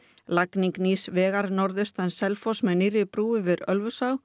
lagning nýs vegar norðaustan Selfoss með nýrri brú yfir Ölfusá